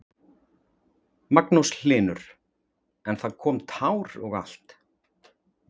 Magnús Hlynur: En það kom tár og allt?